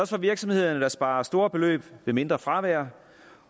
for virksomhederne der sparer store beløb ved mindre fravær